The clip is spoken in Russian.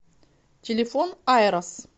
телефон айрос